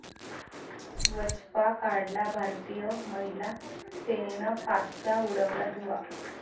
वचपा काढला!, भारतीय महिला सेनेनं पाकचा उडवला धुव्वा